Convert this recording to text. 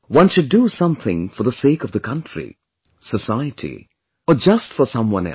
One should do something for the sake of the country, society or just for someone else